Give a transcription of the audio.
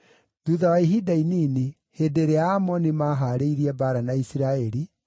Thuutha wa ihinda inini, hĩndĩ ĩrĩa Aamoni maahaarĩirie mbaara na Isiraeli,